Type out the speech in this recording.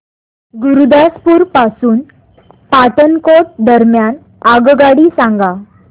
गुरुदासपुर पासून पठाणकोट दरम्यान आगगाडी सांगा